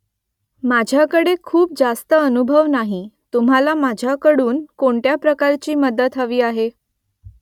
माझ्याकडे खूप जास्त अनुभव नाही तुम्हाला माझ्याकडून कोणत्या प्रकारची मदत हवी आहे ?